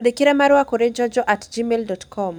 Twandĩkĩre marũa kũrĩ joejoe at gmail dot com